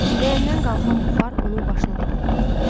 Ləyəndən qalxan buxar onun başına doğru qalxırdı.